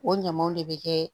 O ɲamaw de bɛ kɛ